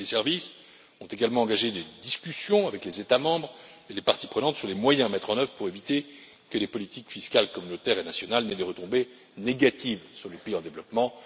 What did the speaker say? Mes services ont également engagé des discussions avec les États membres et les parties prenantes sur les moyens à mettre en œuvre pour éviter que les politiques fiscales communautaires et nationales n'aient des retombées négatives sur les pays en développement.